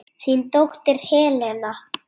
Þín dóttir Helena.